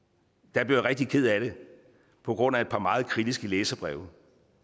blev jeg rigtig ked af det på grund af et par meget kritiske læserbreve